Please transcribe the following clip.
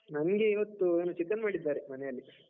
ನಂಗೆ ಇವತ್ತು ಏನೋ chicken ಮಾಡಿದ್ದಾರೆ, ಮನೆಯಲ್ಲಿ.